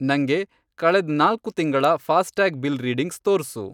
ನಂಗೆ, ಕಳೆದ್ ನಾಲ್ಕು ತಿಂಗಳ ಫಾಸ್ಟ್ಯಾಗ್ ಬಿಲ್ ರೀಡಿಂಗ್ಸ್ ತೋರ್ಸು.